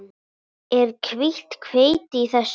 Er hvítt hveiti í þessu?